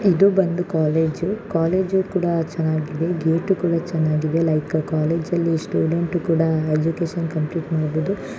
ಇದು ಬಂದು college college ಕೂಡಾ ಚೆನ್ನಾಗಿದೆ. ಗೇಟು ಕೂಡ ಚೆನ್ನಾಗಿದೆ ಲೈಕ್ ಕಾಲೇಜ ಲ್ಲಿ ಸ್ಟೂಡೆಂಟು ಕೂಡ ಎಜುಕೇಶನ್ ಕಂಪ್ಲೀಟ್ ಮಾಡಬೋದು.